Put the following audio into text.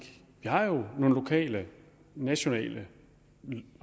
har nogle lokale og nationale